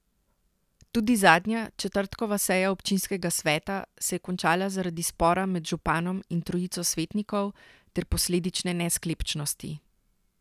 Tudi zadnja, četrtkova seja občinskega sveta se je končala zaradi spora med županom in trojico svetnikov ter posledične nesklepčnosti.